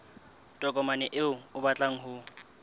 tokomane eo o batlang ho